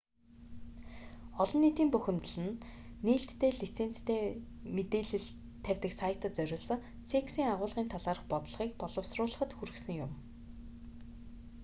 олон нийтийн бухимдал нь нээлттэй лицензтэй мэдээлэл тавьдаг сайтад зориулсан cексийн агуулгын талаарх бодлогыг боловсруулахад хүргэсэн юм